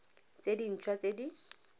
tse dint hwa tse di